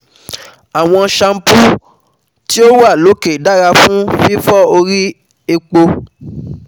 Awọn shampoos ti o wa loke dara fun fifọ ori epo